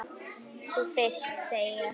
Þú fyrst, segi ég.